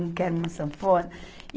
Um que era uma sanfona.